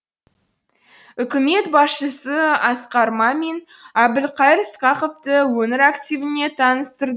үкімет басшысы асқар мамин әбілқайыр сқақовты өңір активіне таныстырды